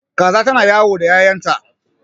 Kaza ta na yawo da ƴaƴanta